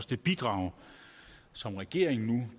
det bidrag som regeringen nu